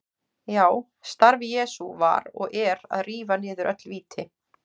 Já, starf Jesú var og er að rífa niður öll víti.